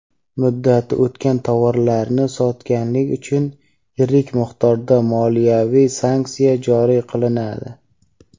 Muddati o‘tgan tovarlarni sotganlik uchun yirik miqdorda moliyaviy sanksiya joriy qilinadi.